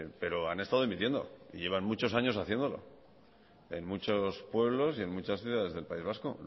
pero han estado emitiendo y llevan muchos años haciéndolo en muchos pueblos y en muchas ciudades del país vasco